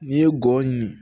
N'i ye gɔyɔ ɲini